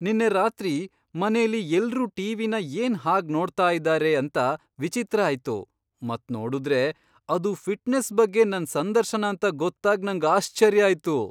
ನಿನ್ನೆ ರಾತ್ರಿ ಮನೇಲಿ ಎಲ್ರೂ ಟಿವಿನ ಏನ್ ಹಾಗ್ ನೋಡ್ತಾ ಇದ್ದಾರೆ ಅಂತ ವಿಚಿತ್ರ ಆಯ್ತು ಮತ್ ನೋಡುದ್ರೆ ಅದು ಫಿಟ್ನೆಸ್ ಬಗ್ಗೆ ನನ್ ಸಂದರ್ಶನ ಅಂತ ಗೊತ್ತಾಗ್ ನಂಗ್ ಆಶ್ಚರ್ಯ ಆಯ್ತು.!